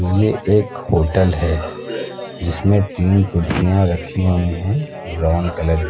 ये एक होटल है जिसमें तीन कुर्सियां रखी हुई हैं ब्राउन कलर --